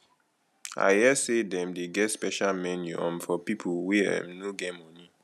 i hear sey dem dey get special menu um for pipo wey um no get moni